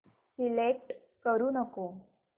select करू नको